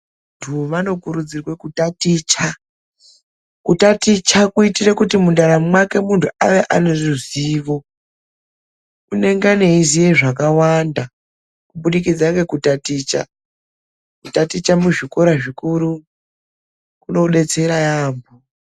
Vantu vanokirudzirwa kutaticha. Kutaticha kuitira kuti mundaramo mwake muntu ange aneruzivo. Angane eiziye zvakawanda kuburikidza ngekutaticha. Kutaticha muzvikora zvikuru kunodetsera yaamho.